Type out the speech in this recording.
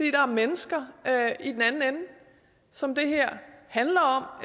er mennesker som det her handler om